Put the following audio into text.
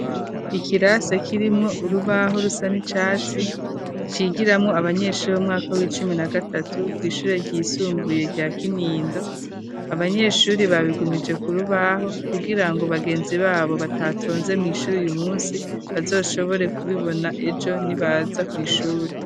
Ikirasa kirimwo urubaho rusa n'icatsi cigiramo abanyeshuri b'umwaka w'icumi na gatatu kwishure ryisumbuye rya kintindo abanyeshuri babigumije kurubaho kugira ngo bagenzi babo batatonze mu ishuri uyu munsi bazoshobore kubibona ejo nibaza kwishuri.